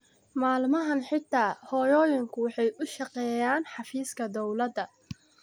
Maalmahan xitaa hooyooyinku waxay u shaqeeyaan xafiiska dawladda